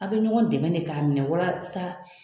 Aw bɛ ɲɔgɔn dɛmɛ de k'a minɛ walasa